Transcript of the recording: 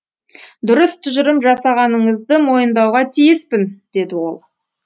дұрыс тұжырым жасағаныңызды мойындауға тиіспін деді ол